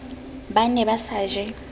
ba ne ba sa je